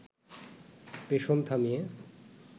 পেষণ থামিয়ে